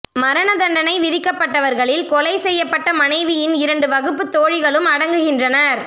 மரண தண்டனை விதிக்கப்பட்டவர்களில் கொலை செய்யப்பட்ட மாணவியின் இரண்டு வகுப்புத் தோழிகளும் அடங்குகின்றனர்